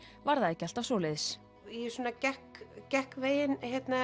var það ekki alltaf svoleiðis ég gekk gekk veginn